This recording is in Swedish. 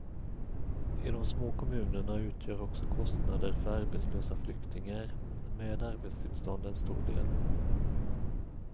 I de små kommunerna utgör också kostnader för arbetslösa flyktingar med arbetstillstånd en stor del.